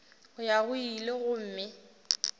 go ya go ile gomme